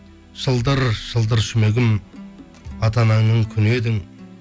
шылдыр шылдыр жүмегім ата анаңның күні едің